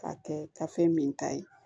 K'a kɛ ka fɛn min ta ye